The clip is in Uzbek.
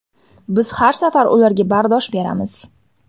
Biz har safar ularga bardosh beramiz.